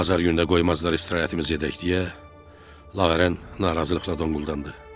Bazar gününə qoymazlar istirahətimizi edək deyə Laven narazılıqla donquldandı.